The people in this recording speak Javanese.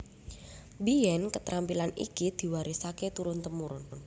Mbiyèn ketrampilan iki diwarisaké turun tumurun